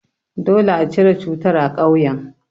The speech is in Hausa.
Dole a cire cutar a ƙauyen.